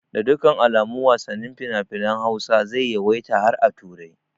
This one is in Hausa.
Da dukkan alamu wasannin finafinan Hausa zai yawaita har a turai